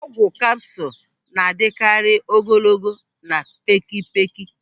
Ọgwụ kapsụl na-adịkarị ogologo na pékėpékė.